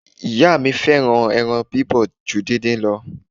Ìyá mi fẹ́ràn ẹran bíbọ̀ ju díndín lọ.